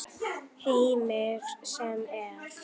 Heimir: Sem er?